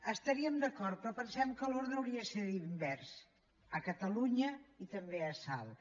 hi estaríem d’acord però pensem que l’ordre hauria de ser invers a catalunya i també a salt